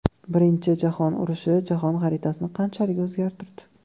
Birinchi jahon urushi jahon xaritasini qanchalik o‘zgartirdi?.